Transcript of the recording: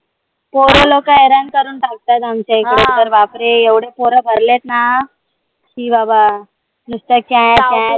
पोर लोक हैरान करून टाकतात आमच्या इकडे तर बापरे एवढे पोर भरलेत आहेत ना शी बाबा नुसतं क्या क्या